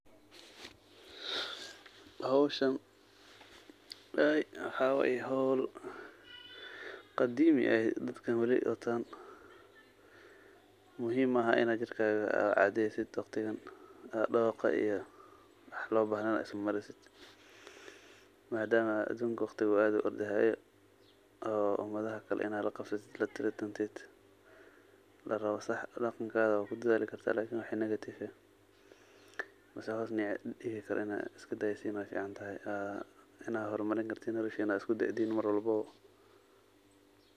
Hooshan waxaye hool qaadimi aheeyt markat waree dontaa mahum maahn Ina ka shaqeeysaoh, dooqa iyo wax lo bahneen Ina ismareesoh, madama aduunka aad u ordahayo o waxkali ini la Qabsatoh, la taratanteed la rabah Ina waxkali kudathali kartah wixi negative Ina isgadaysoh Aya ficantahay Ina nolosha hormarini kartah cedeen mar walboo.